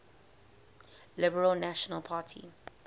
liberal national party